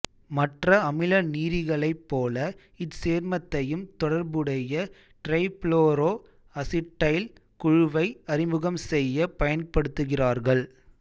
மற்ற அமிலநீரிலிகளைப் போல இச்சேர்மத்தையும் தொடர்புடைய டிரைபுளோரோ அசிட்டைல் குழுவை அறிமுகம் செய்யப் பயன்படுத்துகிறார்கள்